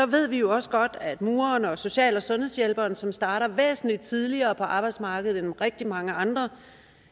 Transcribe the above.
ved vi også godt at for mureren og social og sundhedshjælperen som starter væsentligt tidligere på arbejdsmarkedet end rigtig mange andre